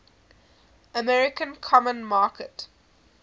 american common market